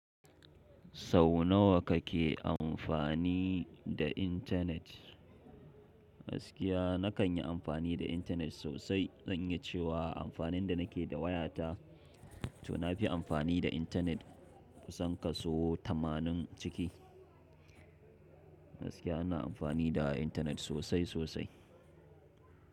Sau nawa kake amfani da intanet? Gaskiya na kan yi amfani da intanet sosai. Zan yi cewa amfanin da nake da waya ta, to na fi amfani da intanet kusan ka so tamanin ciki. Gaskiya ana amfani da intanet sosai sosai.